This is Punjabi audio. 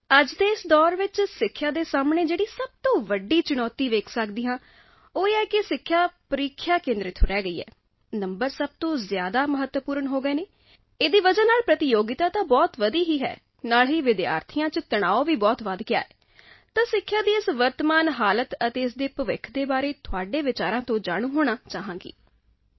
ਅੱਜ ਦੇ ਇਸ ਦੌਰ ਵਿੱਚ ਸਿੱਖਿਆ ਦੇ ਸਾਹਮਣੇ ਜੋ ਸਭ ਤੋਂ ਵੱਡੀ ਚੁਣੌਤੀ ਦੇਖ ਪਾਉਂਦੀ ਹਾਂ ਤਾਂ ਇਹ ਕਿ ਸਿੱਖਿਆ ਪ੍ਰੀਖਿਆ ਕੇਂਦਰਿਤ ਹੋ ਕੇ ਰਹਿ ਗਈ ਹੈ ਅੰਕ ਸਭ ਤੋਂ ਜ਼ਿਆਦਾ ਮਹੱਤਵਪੂਰਨ ਹੋ ਗਏ ਹਨ ਇਸ ਕਾਰਨ ਮੁਕਾਬਲਾ ਤਾਂ ਬਹੁਤ ਵਧਿਆ ਹੀ ਹੈ ਨਾਲ ਹੀ ਵਿਦਿਆਰਥੀਆਂ ਵਿੱਚ ਤਣਾਅ ਵੀ ਬਹੁਤ ਵਧ ਗਿਆ ਹੈ ਤਾਂ ਸਿੱਖਿਆ ਦੀ ਇਸ ਵਰਤਮਾਨ ਦਿਸ਼ਾ ਅਤੇ ਇਸ ਦੇ ਭਵਿੱਖ ਨੂੰ ਲੈ ਕੇ ਤੁਹਾਡੇ ਵਿਚਾਰਾਂ ਤੋਂ ਜਾਣੂ ਹੋਣਾ ਚਾਹੁੰਦੀ ਹਾਂ